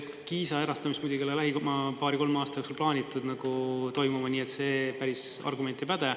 Kiisa erastamist muidugi ei ole lähima paari-kolme aasta jooksul plaanitud toimuma, nii et see argument päris ei päde.